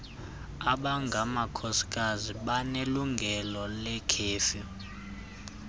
abangamakhosikazi banelungelo lekhefu